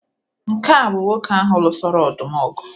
Nke a bụ nwoke ahụ lụsoro ọdụm ọgụ